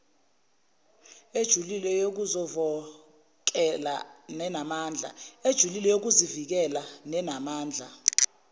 ejulile yokuzovokela nenamandla